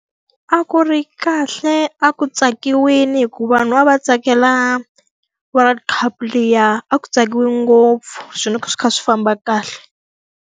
A ku ri kahle, a ku tsakiwile hikuva vanhu a va tsakela world cup liya. A ku tsakiwe ngopfu, swilo swi kha swi famba kahle.